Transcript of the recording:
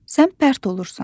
Sən pərt olursan.